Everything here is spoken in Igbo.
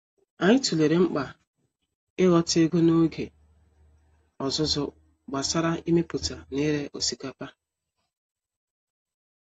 Anyị tụlere mkpa ịghọta ego n’oge ọzụzụ gbasara imepụta na ire osikapa